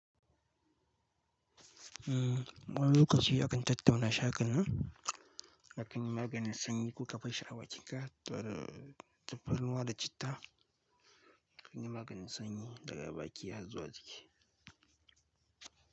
Mmm wani lokaci akan tattauna shaƙanu da kan yi maganin sanyi, ko ka bashshi a bakinka tare da tafarnuwa da citta kan yi maganin sanyi daga baki har zuwa jiki.